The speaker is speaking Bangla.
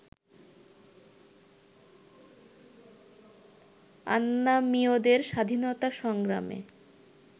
আন্নামীয়দের স্বাধীনতা সংগ্রামে